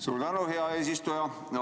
Suur tänu, hea eesistuja!